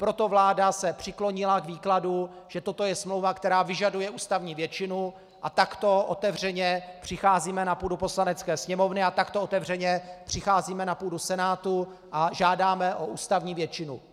Proto se vláda přiklonila k výkladu, že toto je smlouva, která vyžaduje ústavní většinu, a takto otevřeně přicházíme na půdu Poslanecké sněmovny a takto otevřeně přicházíme na půdu Senátu a žádáme o ústavní většinu.